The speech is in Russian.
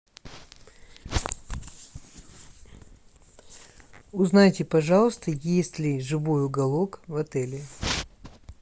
узнайте пожалуйста есть ли живой уголок в отеле